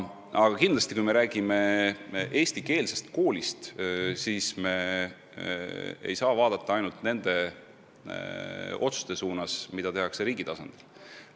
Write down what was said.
Aga kindlasti, kui me räägime eestikeelsest koolist, siis me ei saa silmas pidada ainult neid otsuseid, mida tehakse riigi tasandil.